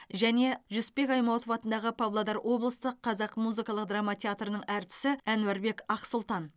және жүсіпбек аймауытов атындағы павлодар облыстық қазақ музыкалық драма театрының әртісі әнуарбек ақсұлтан